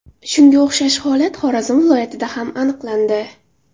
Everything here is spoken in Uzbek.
Shunga o‘xshash holat Xorazm viloyatida ham aniqlandi.